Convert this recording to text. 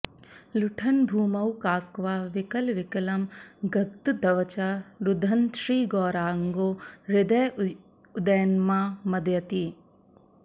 लुठन्भूमौ काक्वा विकलविकलं गद्गदवचा रुदन्श्रीगौराङ्गो हृदय उदयन्मां मदयति